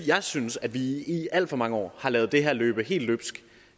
jeg synes at vi i i alt for mange år har ladet det her løbe helt løbsk